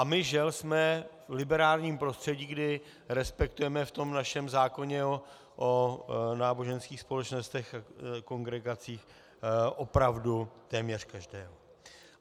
A my, žel, jsme v liberálním prostředí, kdy respektujeme v tom našem zákoně o náboženských společnostech a kongregacích opravdu téměř každého.